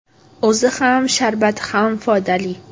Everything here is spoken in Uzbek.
O‘zi ham, sharbati ham foydali.